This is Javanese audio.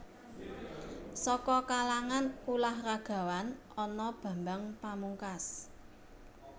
Saka kalangan ulah ragawan ana Bambang Pamungkas